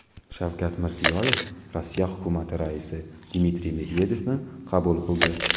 Shavkat Mirziyoyev Rossiya hukumati raisi Dmitriy Medvedevni qabul qildi.